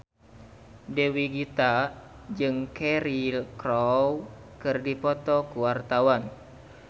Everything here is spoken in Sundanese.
Dewi Gita jeung Cheryl Crow keur dipoto ku wartawan